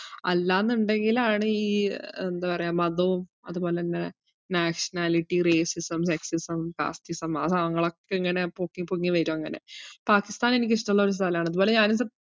അല്ലാന്നുണ്ടെങ്കിലാണ് ഈ ഏർ എന്താ പറയ്യ മതവും അതുപോലെന്നെ nationality, racism, sexism, castism ആ സാനങ്ങളൊക്കെ ഇങ്ങനെ പൊക്കി പൊങ്ങി വരും അങ്ങനെ. പാകിസ്ഥാൻ എനിക്കിഷ്ട ഉള്ളൊരു സ്ഥലാണ്. അത്പോലെ ഞാനിത്.